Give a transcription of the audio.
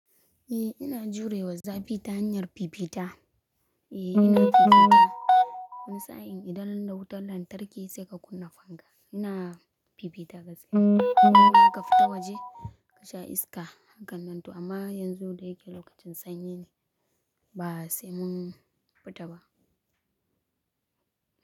Eh ina jurewa zafi ta hanyar fifita. Eh ina fifita wani sa'in idan da wutar lantarki sai ka kunna fanka. Ina fifita gaskiya. Kuma ka fita waje ka sha iska, hakan nan to amma yanzu da yake lokacin sanyi ne, ba sai mun fita ba.